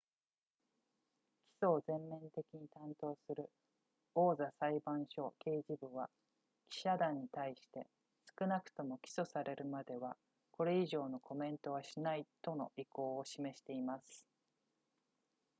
起訴を全面的に担当する王座裁判所刑事部は記者団に対して少なくとも起訴されるまではこれ以上のコメントはしないとの意向を示しています